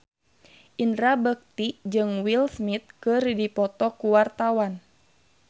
Indra Bekti jeung Will Smith keur dipoto ku wartawan